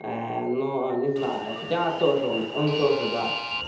но не знаю хотя тоже он он тоже да